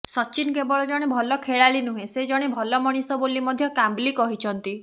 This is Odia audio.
ସଚିନ କେବଳ ଜଣେ ଭଲ ଖେଳାଳି ନୁହେଁ ସେ ଜଣେ ଭଲ ମଣିଷ ବୋଲି ମଧ୍ୟ କାମ୍ବଲି କହିଛନ୍ତି